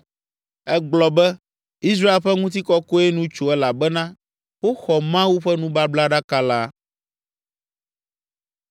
Egblɔ be, “Israel ƒe ŋutikɔkɔe nu tso elabena woxɔ Mawu ƒe nubablaɖaka la.”